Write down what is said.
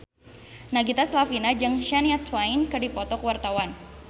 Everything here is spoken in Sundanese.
Nagita Slavina jeung Shania Twain keur dipoto ku wartawan